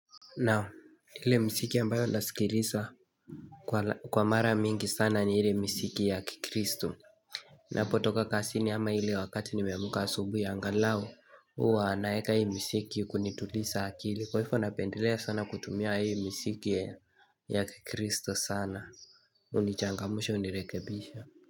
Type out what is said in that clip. Nao ile msiki ambayo ndasikilisa Kwa mara mingi sana ni ile msiki ya kikristu Napo toka kasini ama hile wakati nimemuka asubu ya angalao uwa anaeka hii msiki kunitulisa akili kwa hifo napendelea sana kutumia hii msiki ya kikristu sana unichangamushe unirekebisha.